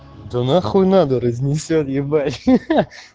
да нахуй надо разнесёт ебать ха-ха